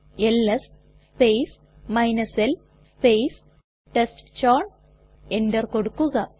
LS space l space ടെസ്റ്റ്ചൌൺ enter കൊടുക്കുക